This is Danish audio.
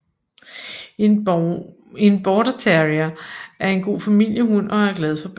En Border terrier er en god familiehund og er glad for børn